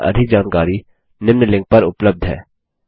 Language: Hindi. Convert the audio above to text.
इस पर अधिक जानकारी निम्न लिंक पर उपलब्ध है